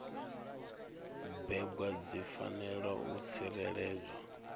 bebwa dzi fanela u tsireledzwa